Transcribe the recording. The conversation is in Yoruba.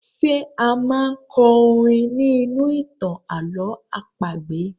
Ṣé a máa kọ orin ní inú ìtàn àlọ̀ọ́ àpagbè?